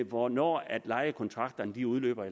hvornår lejekontrakterne udløber